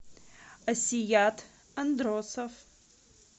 асият андросов